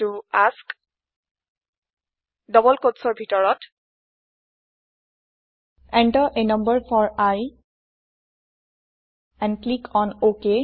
i এএছকে double কোট্চৰ ভিতৰত enter a number for i and click on OK